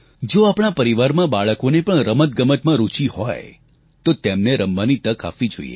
જો આપણા પરિવારમાં પણ બાળકોને રમતગમતમાં રૂચિ હોય તો તેમને રમવાની તક આપવી જોઈએ